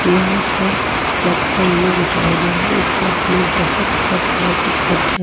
यहां पर कप का इमेज दिखाया गया है इस कप में बहुत तरह तरह का कप है।